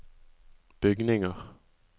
bygninger